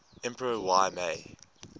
emperor y mei